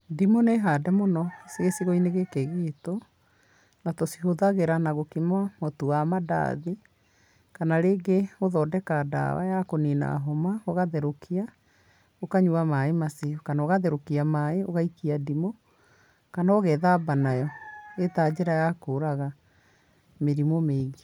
Ndimũ nĩ hande mũno gĩcigo-inĩ gĩkĩ gitũ, na tũcihũthagĩra na gũkima mũtu wa mandathi, kana rĩngĩ gũthondeka dawa ya kũnina homa, ũgatherũkia, ũkanyua maĩĩ macio. Kana ũgatherũkia maĩĩ ũgaikia ndimũ, kana ũgethamba nayo, ĩrĩ ta njĩra ya kũraga, mĩrimũ mĩingĩ.